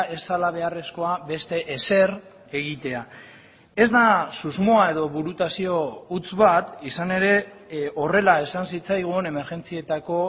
ez zela beharrezkoa beste ezer egitea ez da susmoa edo burutazio huts bat izan ere horrela esan zitzaigun emergentzietako